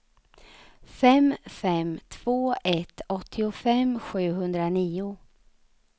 fem fem två ett åttiofem sjuhundranio